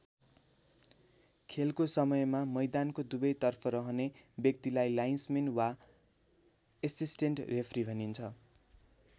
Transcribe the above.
खेलको समयमा मैदानको दुवैतर्फ रहने व्यक्तिलाई लाइन्स मेन वा एसिस्टेन्ट रेफ्री भनिन्छ।